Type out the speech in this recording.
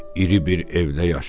İri bir evdə yaşayır.